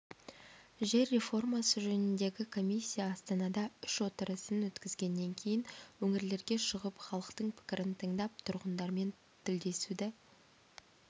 жер реформасы жөніндегі комиссия астанада үш отырысын өткізгеннен кейін өңірлерге шығып халықтың пікірін тыңдап тұрғындармен тілдесуді